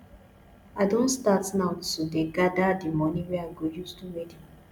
i don start now to dey gada di moni wey i go use do wedding